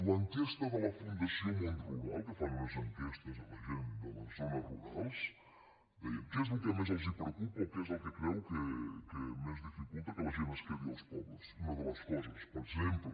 l’enquesta de la fundació món rural que fan unes enquestes a la gent de les zones rurals deia què és el que més els preocupa o què és el que creu que més dificulta que la gent es quedi als pobles i una de els coses per exemple